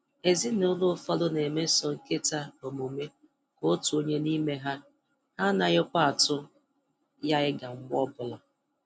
Ezinụlọ ụfọdụ na-emeso nkịta omume ka otu onye n'ime ha, ha anaghịkwa atụ ya ịga mgbe ọbụla